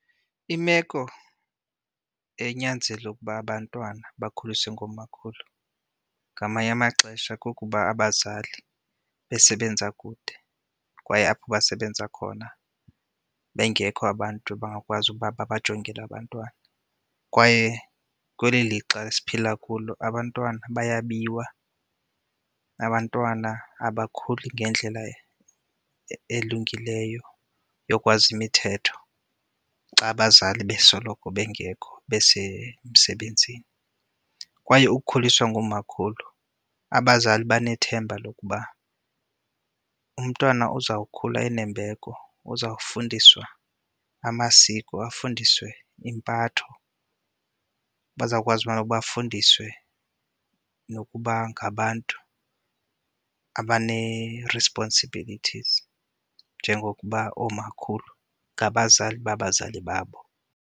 Imeko enyanzela ukuba abantwana bakhuliswe ngoomakhulu ngamanye amaxesha kukuba abazali besebenza kude kwaye apho basebenza khona bengekho abantu abangakwazi ukuba babajongele abantwana. Kwaye kweli lixa esiphila kulo abantwana bayabiwa, abantwana abakhuli ngendlela elungileyo yokwazi imithetho xa abazali besoloko bengekho besemsebenzini. Kwaye ukukhuliswa ngoomakhulu abazali benethemba lokuba umntwana uzawukhula enembeko, uzawufundiswa amasiko, afundiswe impatho, bazawukwazi ubana bafundiswe nokuba ngabantu abanee-responsibilities njengokuba oomakhulu ngabazali babazali babo.